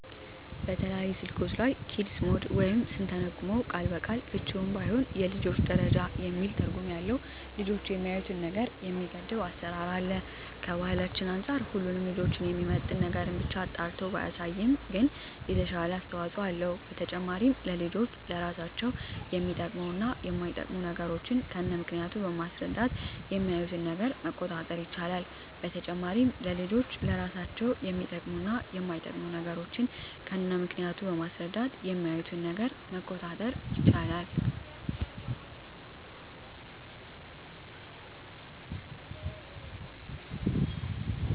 በተለያዩ ስልኮች ላይ "ኪድስ ሞድ" ወይም ስንተረጉመው ቃል በቃል ፍችውም ባይሆን የልጆች ደረጃ የሚል ትርጉም ያለው ልጆች የሚያዪትን ነገር የሚገድብ አሰራር አለ። ከባህላችን አንፃር ሁሉንም ልጆችን የሚመጥን ነገርን ብቻ አጣርቶ ባያሳይም ግን የተሻለ አስተዋጽኦ አለው። በተጨማሪም ለልጆች ለራሳቸው የሚጠቅሙ እና የማይጠቅሙ ነገሮችን ከነምክንያቱ በማስረዳት የሚያዪትን ነገር መቆጣጠር ይቻላል። በተጨማሪም ለልጆች ለራሳቸው የሚጠቅሙ እና የማይጠቅሙ ነገሮችን ከነምክንያቱ በማስረዳት የሚያዪትን ነገር መቆጣጠር ይቻላል።